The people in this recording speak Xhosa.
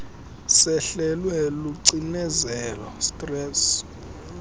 sehlelwe lucinezelo stress